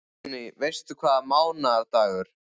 Guðný: Veistu hvaða mánaðardagur?